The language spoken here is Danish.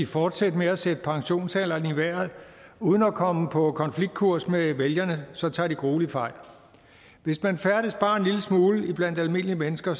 fortsætte med at sætte pensionsalderen i vejret uden at komme på konfliktkurs med vælgerne så tager de grueligt fejl hvis man færdes bare en lille smule blandt almindelige mennesker